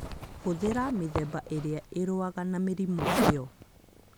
Hũthĩra mĩthemba ĩrĩa ĩrũaga na mĩrimũ ĩyo